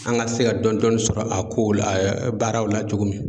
An ka se ka dɔɔni dɔɔni sɔrɔ a kow la baaraw la cogo min.